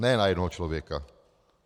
Ne na jednoho člověka.